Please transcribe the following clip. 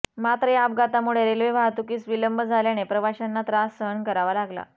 मात्र या अपघातामुळे रेल्वे वाहतुकीस विलंब झाल्याने प्रवाशांना त्रास सहन करावा लागला